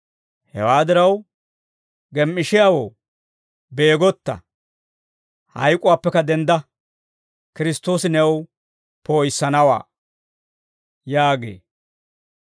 Hewaa diraw, «Gem"ishiyaawoo, beegotta; hayk'uwaappekka dendda; Kiristtoosi new poo'issanawaa» yaagee.